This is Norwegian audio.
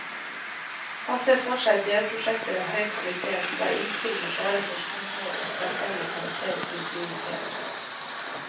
Han ser for seg delprosjekter av høy kvalitet, der innspill med klare forskningsmål og tverrfaglig karakter blir prioritert.